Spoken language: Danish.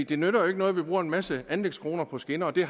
det nytter jo ikke noget at vi bruger en masse anlægskroner på skinner og de